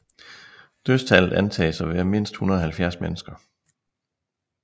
Dødstallet antages at være mindst 170 mennesker